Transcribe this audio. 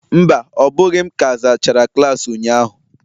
Mba, ọ bụghị m ka zachara klaasị ụnyahụ